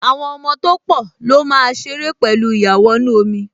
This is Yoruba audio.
Àwọn ọmọ tó pọ̀ ló máa ṣeré pẹ̀lú ìyàwọnù-ọmọ